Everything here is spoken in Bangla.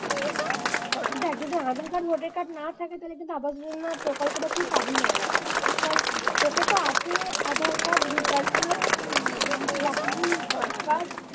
দেখ যদি আধার card ভোটার card না থাকে তাহলে কিন্তু আবাস যোজনা প্রকল্পটা তুই পাবি না ঠিক আছে কিন্তু তোকে তো আগে আধার card ভোটার card হম ব্যাংকের account drop card